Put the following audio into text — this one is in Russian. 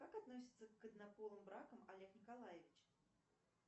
как относится к однополым бракам олег николаевич